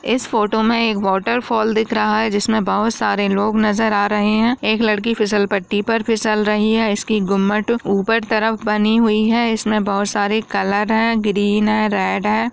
इस फोटो मे एक वॉटरफॉल दिख रहा है जिसमे बहुत सारे लोग नजर आ रहे है एक लड़की फिसल पट्टी पर फिसल रही है इसकी गुम्मद ऊपर तरफ बनी हुई है इसमे बहुत सारे कलर है ग्रीन है रेड है।